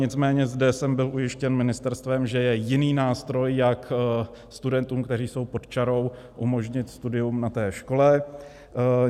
Nicméně zde jsem byl ujištěn ministerstvem, že je jiný nástroj, jak studentům, kteří jsou pod čarou, umožnit studium na té škole.